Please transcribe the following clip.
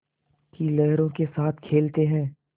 की लहरों के साथ खेलते हैं